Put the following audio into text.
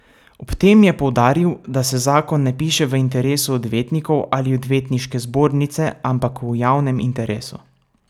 Ob tem je poudaril, da se zakon ne piše v interesu odvetnikov ali odvetniške zbornice, ampak v javnem interesu.